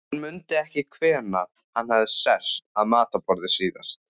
Hann mundi ekki hvenær hann hafði sest að matarborði síðast.